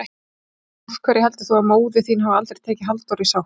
Af hverju heldurðu að móðir þín hafi aldrei tekið Halldóru í sátt?